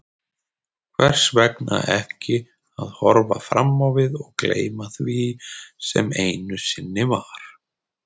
Hvers vegna ekki að horfa fram á við og gleyma því sem einu sinni var?